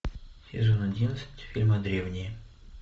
сезон одиннадцать фильма древние